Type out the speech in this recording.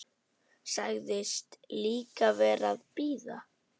Sagðist líka vera að bíða.